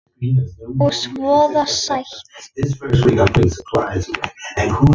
Og voða sætt.